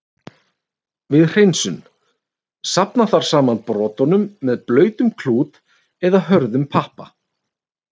Við hreinsun: Safna þarf saman brotunum með blautum klút, eða hörðum pappa.